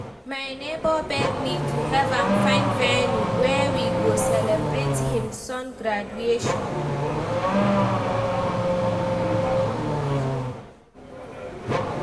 my nebor beg me to help am find venue wey we go celebrate him son graduation.